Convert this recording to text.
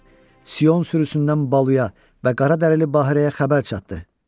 Sion sürüsündən Baluya və qara dərili Bahirəyə xəbər çatdır.